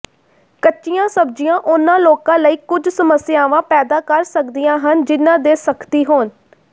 ਕੱਚੀਆਂ ਸਬਜ਼ੀਆਂ ਉਹਨਾਂ ਲੋਕਾਂ ਲਈ ਕੁਝ ਸਮੱਸਿਆਵਾਂ ਪੈਦਾ ਕਰ ਸਕਦੀਆਂ ਹਨ ਜਿਨ੍ਹਾਂ ਦੇ ਸਖਤੀ ਹੋਣ